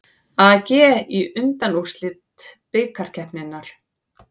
AG í undanúrslit bikarkeppninnar